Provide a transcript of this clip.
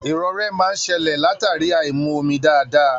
Irorẹ máa n ṣẹlẹ latari aimu omi dáadáa.